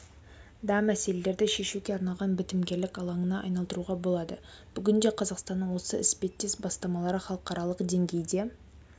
да мәселелерді шешуге арналған бітімгерлік алаңына айналдыруға болады бүгінде қазақстанның осы іспеттес бастамалары халықаралық деңгейде